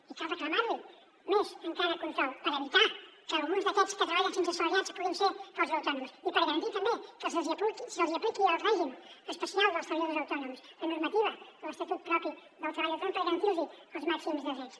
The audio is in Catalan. i cal reclamar li més encara control per evitar que alguns d’aquests que treballen sense ser assalariats puguin ser falsos autònoms i per garantir també que se’ls hi apliqui el règim especial dels treballadors autònoms la normativa de l’estatut propi del treball autònom per garantir los els màxims de drets